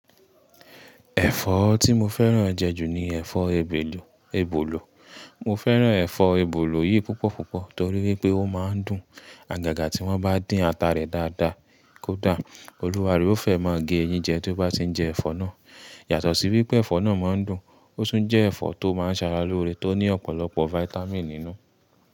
Ẹ̀fọ́ tí mo fẹ́ràn jẹ jù ni ẹ̀fọ́ èbelu, ebolo. Mo fẹ́ràn ẹ̀fọ́ ebolo yìí púpọ̀ púpọ̀ torí wípé ó máa ń dùn. Àgàgà tí wọ́n bá dín ata rẹ̀ dáadáa, kódà olúwarẹ̀ ó fẹ́ máa gé eyín jẹ tó bá ti ń jẹ ẹ̀fọ́ náà. Yàtọ̀ sí wípé ẹ̀fọ́ náà máa ń dùn, ó tún jẹ́ ẹ̀fọ́ tó máa ń ṣara lóore, tó ní ọ̀pọ̀lọpọ̀ vitamin nínú.